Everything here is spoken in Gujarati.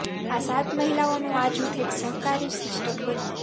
આ સાત મહિલાઓનું આ જૂથ એક સહકારી સિસ્ટમ બન્યું